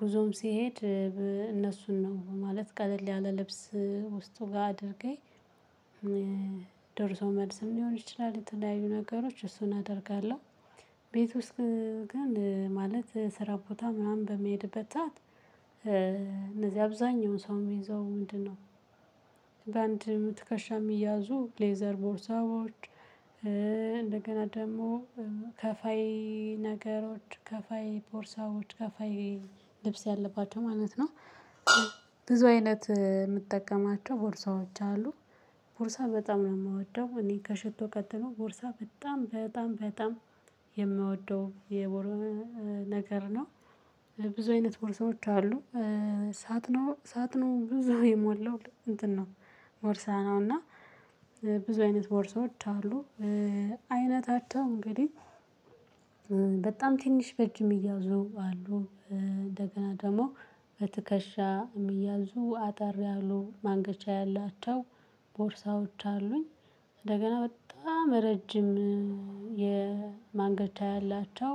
ጉዞም ሲሄድ እነሱን ነው። ማለት ቀለል ያለ ልብስ ውስጡ ጋር አድርጌ ደርሶ መልስም ሊሆን ይችላል የተለያዩ ነገሮች እሱን አደርጋለሁ። ቤት ውስጥ ግን ማለት ስራ ቦታ ምናምን በመሄድበት እነዚህ አብዛኛውን ሰው የሚይዘው ምንድነው? በአንድ ምትከሻ የሚያዙ ሌዘር ቦርሳዎች፣ እንደገና ደግሞ ከፋይ ነገሮች፣ ከፋይ ቦርሳዎች፣ ከፋይ ልብስ ያለባቸው ማለት ነው ብዙ አይነት የምጠቀማቸው ቦርሳዎች አሉ። ቦርሳ በጣም ነው የማወደው። እኔ ከሽቶ ቀጥሎ ቦርሳ በጣም፣ በጣም፣ በጣም የምወደው የቦር፣ ነገር ነው። ብዙ አይነት ቦርሳዎች አሉ። ሳጥኑ፣ ሳጥኑ ብዙ የሞላው እንትን ነው፣ ቦርሳ ነው እና ብዙ አይነት ቦርሳዎች አሉ። አይነታቸው እንግዲህ በጣም ትንሽ በእጅ ምያዙ አሉ። እንደገና ደግሞ በትከሻ የሚያዙ አጠር ያሉ፣ ማንገቻ ያላቸው ቦርሳዎች አሉኝ። እንደገና በጣም ረጅም የማንገቻ ያላቸው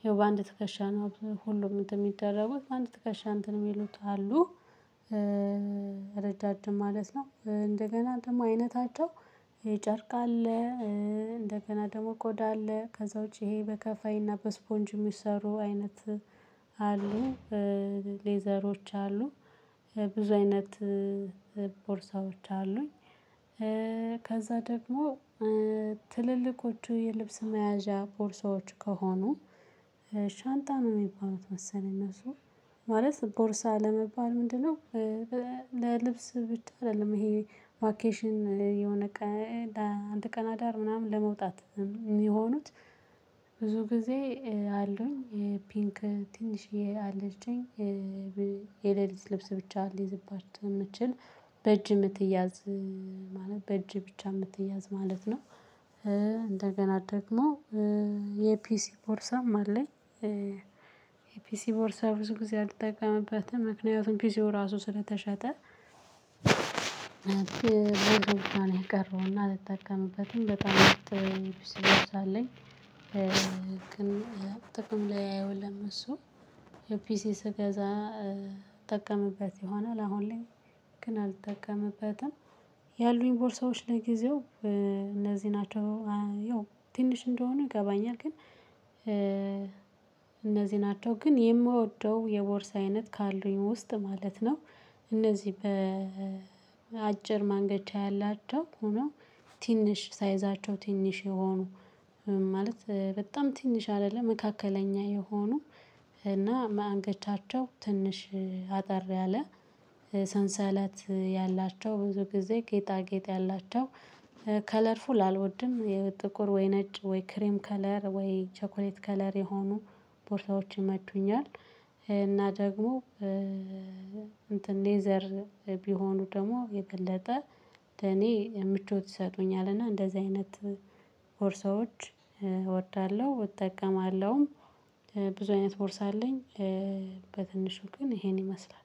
ይሄው በአንድ ትከሻ ነው ሁሉም እንትን የሚደረጉት፣ በአንድ ትከሻ እንትን የሚሉት አሉ። ረዣዥም ማለት ነው፣ እንደገና ደግሞ አይነታቸው የጨርቅ አለ እንደገና ደግሞ ቆዳ አለ። ከዛ ውጪ ይሄ በከፋይና በስፖንጅ የሚሰሩ አይነት አሉ። ሌዘሮች አሉ፣ ብዙ አይነት ቦርሳዎች አሉኝ። ከዛ ደግሞ ትልልቆቹ የልብስ መያዣ ቦርሳዎች ከሆኑ ሻንጣን ነው የሚባሉት መሰለኝ እነሱ ማለት ቦርሳ ለመባል ምንድነው ለልብስ ብቻ አይደለም ይሄ ቫኬሽን የሆነ ቀ፣ ለአንድ ቀን አዳር ምናምን ለመውጣት የሚሆኑት፣ ብዙ ጊዜ አሉኝ። የፒንክ ትንሽዬ አለችኝ፣ የሌሊት ልብስ ብቻ ሊይዝባችሁ የምትችል፣ በእጅ የምትያዝ ማለት በእጅ ብቻ የምትያዝ ማለት ነው። እንደገና ደግሞ የፒሲ ፖርሳም አለኝ። የፒሲ ቦርሳ ብዙ ጊዜ አልጠቀምበትም ምክንያቱም ፒሲው ራሱ ስለተሸጠ። የቀረውና አልጠቀምበትም። በጣም ጥሩ አለኝ። ግን ጥቅም ላይ አይወለም እሱ። ፒሲ ስገዛ እጠቀምበት ይሆናል። አሁን ላይ ግን አልጠቀምበትም። ያሉኝ ቦርሳዎች ለጊዜው እነዚህ ናቸው። ያው ትንሽ እንደሆነ ይገባኛል ግን እነዚህ ናቸው። ግን የምወደው የቦርስ አይነት ካሉኝ ውስጥ ማለት ነው እነዚህ በአጭር ማንገጫ ያላቸው ሆኖ ትንሽ ሳይዛቸው ትንሽ የሆኑ ማለት በጣም ትንሽ አይደለም መካከለኛ የሆኑ እና ማንገቻቸው ትንሽ አጠር ያለ ሰንሰለት ያላቸው ብዙ ጊዜ ጌጣ ጌጥ ያላቸው ከለርፉል አልወድም የጥቁር ወይ ነጭ ወይ ክሬም ከለር ወይ ቸኮሌት ከለር የሆኑ ቦርታዎች ቦታዎች ይመቹኛል። እና ደግሞ እንትን ሌዘር ቢሆኑ ደግሞ የገለጠ ለኔ ምቾት ይሰጡኛል እና እንደዚህ አይነት ቦርሳዎች እወዳለሁ፣ እጠቀማለሁም። ብዙ አይነት ቦርሳ አለኝ። በትንሹ ግን ይሄን ይመስላል።